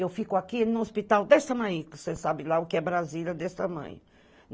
Eu fico aqui no hospital desse tamanhico, que você sabe lá o que é Brasília, desse tamanho.